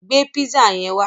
Gbé písà yẹn wá!